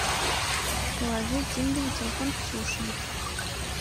положить деньги на телефон ксюше